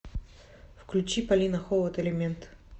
включи полина холод элемент